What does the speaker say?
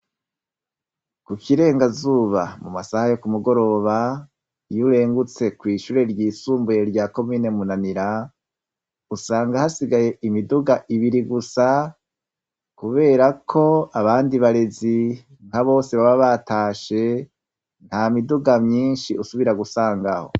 Kukirengazuba mumasaha yo kumu goroba iyo urengutse kw'ishure ry'isumbuye rya commune munanira usanga hasigaye imiduga ibiri gusa Kubera ko abandi abarezi baba batashe ntamiduga myinshi ukunda gusangaho.